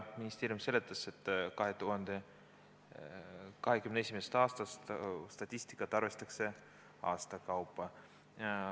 Ministeerium seletas, et 2021. aastast arvestatakse statistikat aasta kaupa.